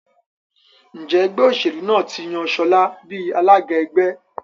Njé Ẹgbẹ́ òṣèlú náà tí yàn Shola bí alága ẹgbẹ́?